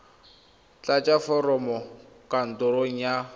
tlatsa foromo kwa kantorong ya